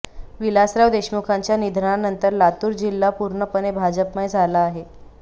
विलासराव देशमुखांच्या निधनानंतर लातूर जिल्हा पूर्णपणे भाजपमय झाला आहे